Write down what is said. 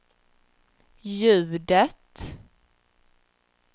ljudet